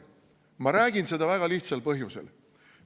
Ma räägin seda väga lihtsal põhjusel.